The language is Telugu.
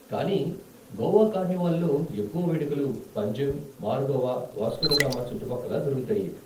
కానీ గోవా కార్నివాల్లో ఎక్కువ వేడుకలు పంజిమ్, మార్గోవా, వాస్కోడిగామా చుట్టుపక్కల జరుగుతాయి.